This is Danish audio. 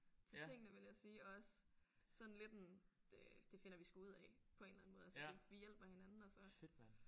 Til tingene vil jeg sige og også sådan lidt en øh det finder vi sgu ud af på en eller anden måde altså vi hjælper hinanden og så